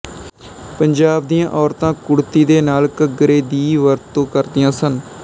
ਪੰਜਾਬ ਦੀਆਂ ਔਰਤਾਂ ਕੁੜਤੀ ਦੇ ਨਾਲ ਘੱਗਰੇ ਦੀ ਵਰਤੋਂ ਕਰਦੀਆਂ ਸਨ